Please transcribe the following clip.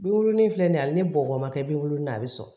Binkurunin in filɛ nin ye ali ni bɔgɔ ma kɛ binkurunin ye a bɛ sɔn